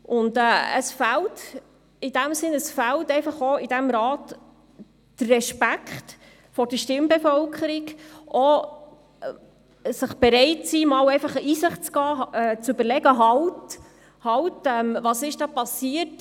Es fehlt im Rat der Respekt vor der Stimmbevölkerung, die Bereitschaft, auch einmal in sich zu gehen und zu sagen: Halt, was ist da passiert?